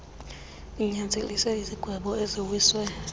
linyanzelise izigwebo eziwiswe